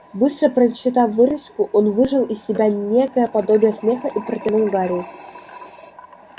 быстро прочитав вырезку он выжал из себя некое подобие смеха и протянул гарри